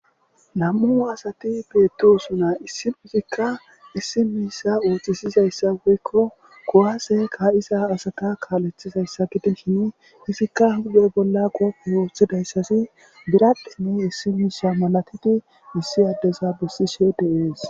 Nami'u asati beettosona issinozikka issi miishsha ooththisizayssa woykko kuwase ka'iza asata kaaleththiza gidishin izikka be huphe bolla qoofe woththidayssi biradhdhen issi miishsha malatidi issi addeza bessishe de'es